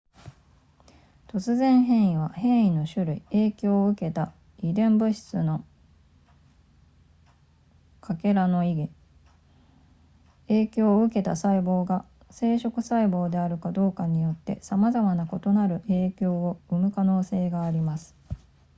突然変異は変異の種類影響を受けた遺伝物質の欠片の意義影響を受けた細胞が生殖細胞であるかどうかによってさまざまな異なる影響を生む可能性があります